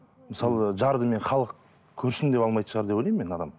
мысалы жарды мен халық көрсін деп алмайды шығар деп ойлаймын мен адам